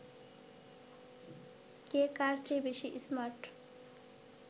কে কার চেয়ে বেশি স্মার্ট